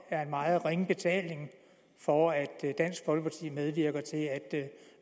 er en meget ringe betaling for at dansk folkeparti medvirker til at